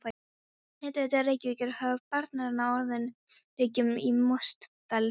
Hitaveita Reykjavíkur hóf boranir á Norður Reykjum í Mosfellsdal.